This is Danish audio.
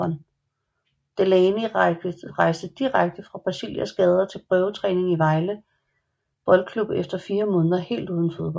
Delani rejste direkte fra Brasilias gader til prøvetræning i Vejle Boldklub efter fire måneder helt uden fodbold